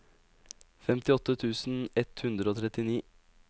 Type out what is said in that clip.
femtiåtte tusen ett hundre og trettini